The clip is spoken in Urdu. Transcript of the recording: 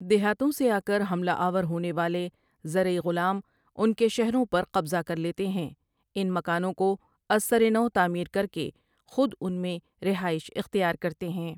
دیہاتوں سے آکر حملہ آور ہونے والے زرعی غلام ان کے شہروں پر قبضہ کرلیتے ہیں ان مکانوں کو ازسر نو تعمیر کرکے خود ان میں رہائش اختیار کرتے ہیں ۔